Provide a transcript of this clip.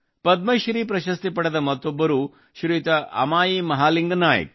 ಪದ್ಮಶ್ರೀ ಪ್ರಶಸ್ತಿ ಪಡೆದ ಮತ್ತೊಬ್ಬರು ಶ್ರೀಯುತ ಅಮಾಯಿ ಮಹಾಲಿಂಗ ನಾಯಿಕ್